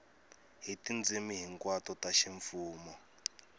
hi tindzimi hinkwato ta ximfumo